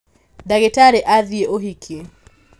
ndagĩtarĩ athiĩ ũhiki